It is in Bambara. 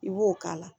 I b'o k'a la